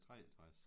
63